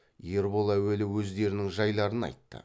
ербол әуелі өздерінің жайларын айтты